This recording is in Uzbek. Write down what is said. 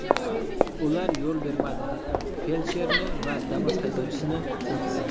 Ular yo‘l bermadi, feldsherni va Damas haydovchisini so‘kdi.